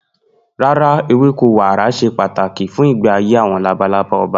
No, milkweed is essential for monarch butterflies' life cycle.